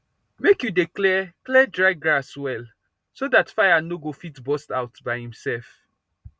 make you dey clear clear dry grass well so dat fire no go fit burst out by imself